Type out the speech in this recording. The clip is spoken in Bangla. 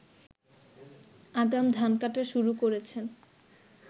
আগাম ধান কাটা শুরু করেছেন